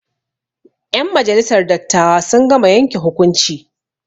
Ƴen majalisar dattawa sun gama yanke hukunci.